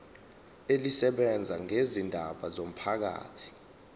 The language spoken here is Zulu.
elisebenza ngezindaba zomphakathi